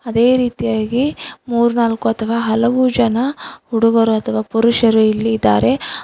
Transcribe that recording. ಅದೇ ರೀತಿಯಾಗಿ ಮೂರ್ನಾಲ್ಕು ಅಥವಾ ಹಲವು ಜನ ಹುಡುಗರು ಅಥವಾ ಪುರುಷರು ಇಲ್ಲಿ ಇದಾರೆ.